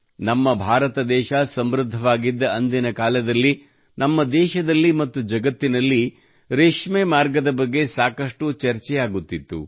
ನಮ್ಮ ಭಾರತ ದೇಶ ಸಮೃದ್ಧವಾಗಿದ್ದ ಅಂದಿನ ಕಾಲದಲ್ಲಿ ನಮ್ಮ ದೇಶದಲ್ಲಿ ಮತ್ತು ಜಗತ್ತಿನಲ್ಲಿ ರೇಷ್ಮೆ ಮಾರ್ಗದ ಬಗ್ಗೆ ಸಾಕಷ್ಟು ಚರ್ಚೆಯಾಗುತ್ತಿತ್ತು